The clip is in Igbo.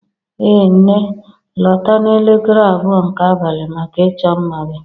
Ee nne, lọta n'elekere abụọ nke abalị maka ịchọ mma gị